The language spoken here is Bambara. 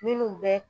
Minnu bɛ